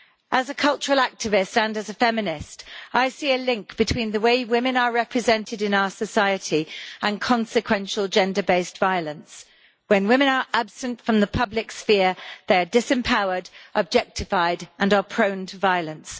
As a cultural activist and as a feminist, I see a link between the way women are represented in our society and consequential gender based violence. When women are absent from the public sphere, they are disempowered, objectified and subject to violence.